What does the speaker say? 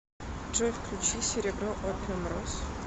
джой включи серебро опиумроз